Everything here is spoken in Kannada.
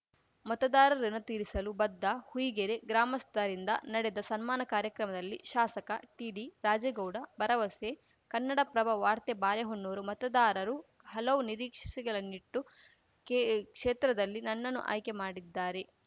ಮತದಾರರ ಋುಣ ತೀರಿಸಲು ಬದ್ಧ ಹುಯಿಗೆರೆ ಗ್ರಾಮಸ್ಥರಿಂದ ನಡೆದ ಸನ್ಮಾನ ಕಾರ್ಯಕ್ರಮದಲ್ಲಿ ಶಾಸಕ ಟಿಡಿರಾಜೇಗೌಡ ಭರವಸೆ ಕನ್ನಡಪ್ರಭ ವಾರ್ತೆ ಬಾಲೆಹೊನ್ನೂರು ಮತದಾರರು ಹಲವು ನಿರೀಕ್ಷೆಸೆ ಗಳನ್ನಿಟ್ಟು ಕೇ ಕ್ಷೇತ್ರದಲ್ಲಿ ನನ್ನನ್ನು ಆಯ್ಕೆ ಮಾಡಿದ್ದಾರೆ